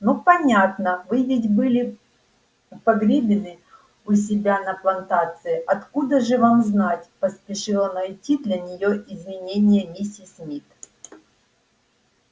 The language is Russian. ну понятно вы ведь были погребены у себя на плантации откуда же вам знать поспешила найти для нее извинение миссис мид